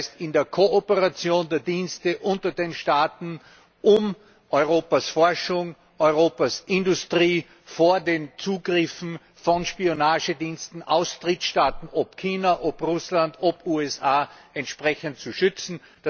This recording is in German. Das heißt in die Kooperation der Dienste unter den Staaten, um Europas Forschung, Europas Industrie vor den Zugriffen von Spionagediensten aus Drittstaaten ob China, Russland, USA zu schützen.